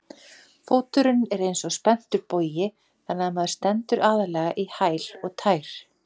Fóturinn er eins og spenntur bogi þannig að maður stendur aðallega í hæl og tær.